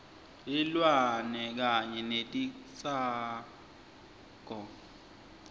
tilwane kanye netitsako